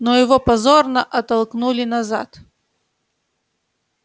но его позорно оттолкнули назад